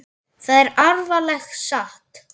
Það er alveg satt.